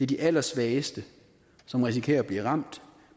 de allersvageste som risikerer at blive ramt